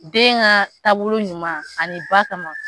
Den ka taabolo ɲuman ani ba kama